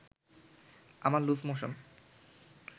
আমার loose motion